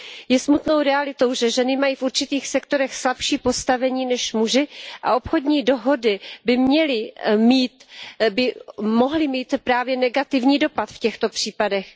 Je smutnou realitou, že ženy mají v určitých sektorech slabší postavení než muži a obchodní dohody by mohly mít právě negativní dopad v těchto případech.